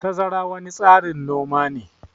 Tazara wani tsarin noma ne.